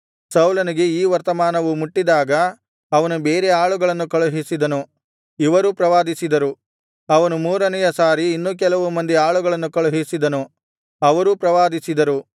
ಸೌಲನಿಗೆ ಈ ವರ್ತಮಾನವು ಮುಟ್ಟಿದಾಗ ಅವನು ಬೇರೆ ಆಳುಗಳನ್ನು ಕಳುಹಿಸಿದನು ಇವರೂ ಪ್ರವಾದಿಸಿದರು ಅವನು ಮೂರನೆಯ ಸಾರಿ ಇನ್ನೂ ಕೆಲವು ಮಂದಿ ಆಳುಗಳನ್ನು ಕಳುಹಿಸಿದನು ಅವರೂ ಪ್ರವಾದಿಸಿದರು